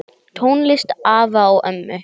Tónlist afa og ömmu?